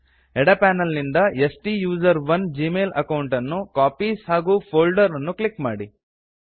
ಎಡ ಪ್ಯಾನಲ್ ನಿಂದ ಸ್ಟುಸೆರೋನ್ ಜಿಮೇಲ್ ಅಕೌಂಟ್ ಅನ್ನು ಕಾಪೀಸ್ ಹಾಗು ಫೋಲ್ಡರ್ಸ್ ಅನ್ನು ಕ್ಲಿಕ್ ಮಾಡಿ